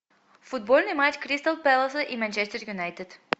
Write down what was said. футбольный матч кристал пэласа и манчестер юнайтед